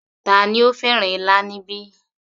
Tani ó fẹ́ràn ilá níbí